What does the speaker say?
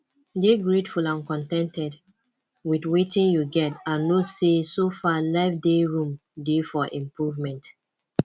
dey greatful and con ten ted with wetin you get and know sey so far life dey room dey for improvement